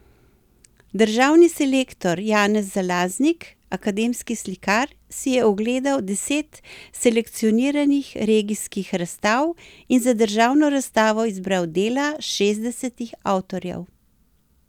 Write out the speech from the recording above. Državni selektor Janez Zalaznik, akademski slikar, si je ogledal deset selekcioniranih regijskih razstav in za državno razstavo izbral dela šestdesetih avtorjev.